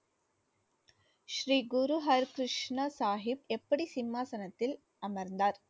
ஸ்ரீ குரு ஹர் கிருஷ்ண சாகிப் எப்படி சிம்மாசனத்தில் அமர்ந்தார்?